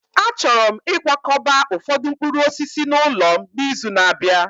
Achọrọ m ịkwakọba ụfọdụ mkpụrụ osisi n'ụlọ m n'izu na-abịa